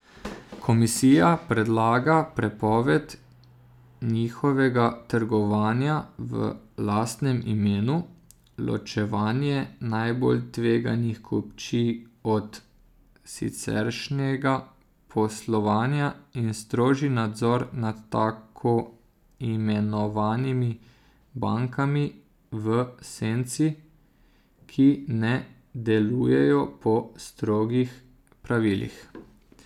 Komisija predlaga prepoved njihovega trgovanja v lastnem imenu, ločevanje najbolj tveganih kupčij od siceršnjega poslovanja in strožji nadzor nad tako imenovanimi bankami v senci, ki ne delujejo po strogih pravilih.